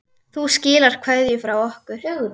Þú skilar kveðju frá okkur.